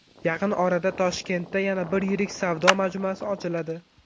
Yaqin orada Toshkentda yana bir yirik savdo majmuasi ochiladi.